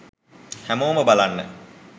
හැමෝම බලන්න